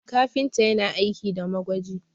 kafinta yana aiki da magwaji